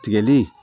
Tigɛli